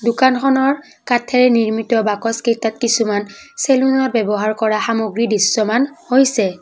দোকানখনৰ কাঠেৰে নিৰ্মিত বাকচ কেইটাত কিছুমান চেলুনত ব্যৱহাৰ কৰা সামগ্ৰী দৃশ্যমান হৈছে।